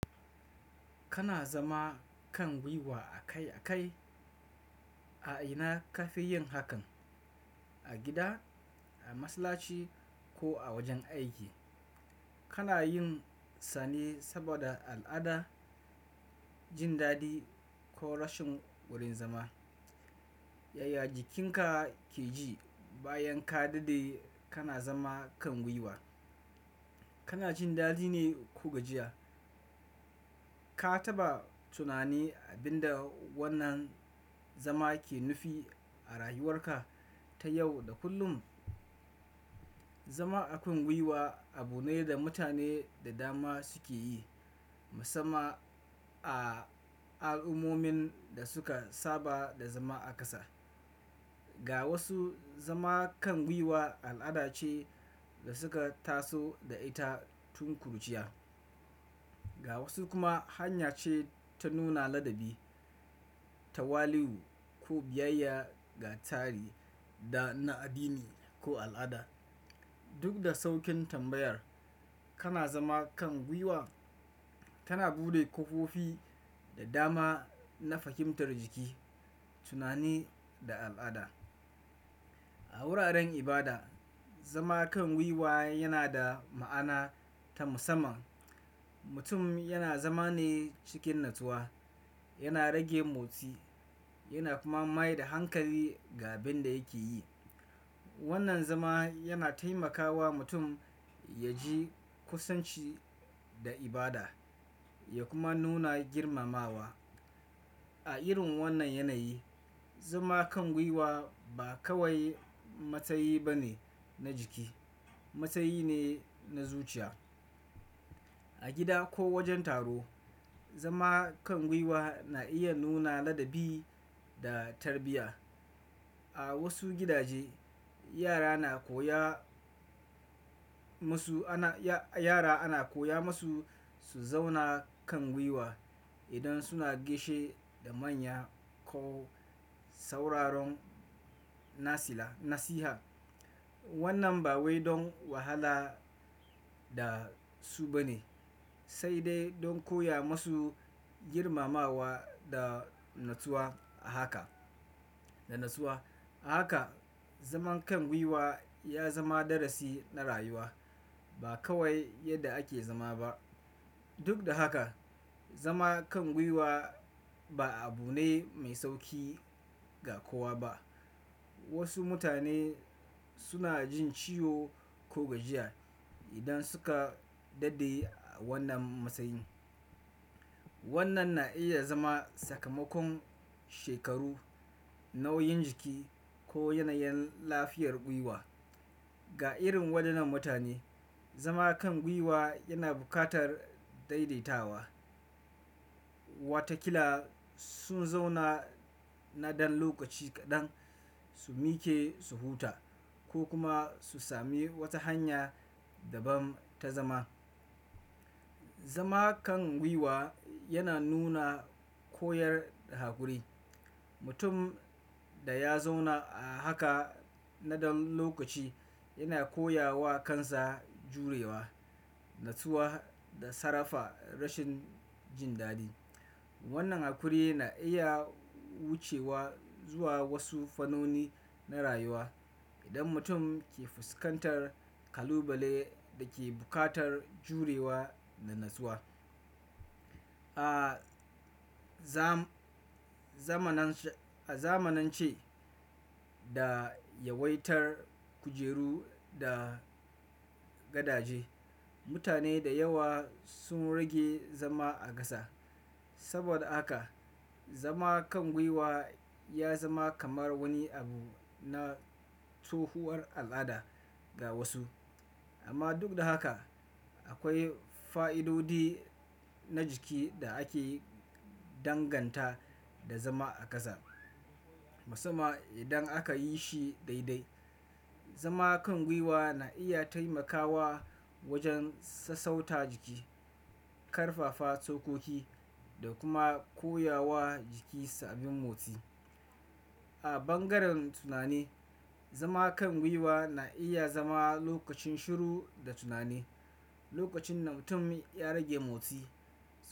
Kana zama kan gwiwa akai akai? A ina ka fi yin hakan? A gida, a masallaci ko a wajen aiki? Kana yin sane saboda al'ada, jin daɗi ko rashin wurin zama? Yaya jikinka ke ji bayan ka dade kana zama kan gwiwa? Kana jin daɗi ne ko gajiya? Ka taɓa tunani abin da wannan zama ke nufi a rayuwarka ta yau da kullum? Zama a kan gwiwa abu ne da mutane da dama suke yi, musamman a al'ummomin da suka saba da zama a ƙasa. Ga wasu, zama kan gwiwa al'ada ce da suka taso da ita tun kuruciya. Ga wasu kuma, hanya ce ta nuna ladabi, tawali'u ko biyayya ga tari da na addini ko al'ada. Duk da saukin tambayar, kana zama kan gwiwa tana buɗe ƙofofi da dama na fahimtar jiki, tunani da al'ada. A wuraren ibada, zama kan gwiwa yana da ma'ana ta musamman. Mutum yana zama ne cikin natsuwa, yana rage motsi yana kuma maida hankali ga abin da yake yi. Wannan zama yana taimakawa mutum ya ji kusanci da ibada ya kuma nuna girmamawa. A irin wannan yanayi, zama kan gwiwa ba kawai matsayi bane na jiki, matsayi ne na zuciya. A gida ko wajen taro, zama kan gwiwa na iya nuna ladabi da tarbiyya. A wasu gidaje, yara na koya musu ana yara ana koya musu su zauna kan gwiwa idan suna gaishe da manya ko sauraron nasila nasiha. Wannan ba wai don wahala da su bane sai dai don koya masu girmamawa da natsuwa. A haka, da natsuwa. A haka, zaman kan gwiwa ya zama darasi na rayuwa ba kawai yadda ake zama ba. Duk da haka, zama kan gwiwa ba abu ne mai sauƙi ga kowa ba. Wasu mutane suna jin ciwo ko gajiya idan suka dade a wannan matsayin. Wannan na iya zama sakamakon shekaru, nauyin jiki ko yanayin lafiyar gwiwa. Ga irin wadannan mutane zama kan gwiwa yana bukatat daidaitawa. Watakila sun zauna na ɗan lokaci kaɗan su miƙe su huta ko kuma su sami wata hanya daban ta zama. Zama kan gwiwa yana nuna koyar da hakuri. Mutum da ya zauna a haka na ɗan lokaci yana koya wa kansa jurewa, natsuwa da sarrafa rashin jin daɗi. Wannan hakuri na iya wucewa zuwa wasu fannoni na rayuwa idan mutum ke fuskantar kalubale da ke buƙatar jurewa da natsuwa. A zamanance, a zamanance da yawaitar kujeru da gadaje, mutane da yawa sun rage zama a ƙasa. Saboda haka zama kan gwiwa ya zama kamar wani abu na tsohuwar al'ada ga wasu. Amma duk da haka akwai fa'idodi na jiki da ake danganta da zama a ƙasa. Musamman idan aka yishi daide zama kan gwiwa na iya temakawa wajen sassauta jiki karfafa tsokoki da kuma koyawa jiki sabin motsi. A bangaren tunani, zama kan gwiwa na iya zama lokacin shiru da tunani, lokacin da mutum ya rage motsi.